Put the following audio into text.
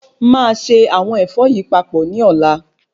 Máà ṣe àwọn Ẹ̀fọ yìí papọ̀ ni ọ̀la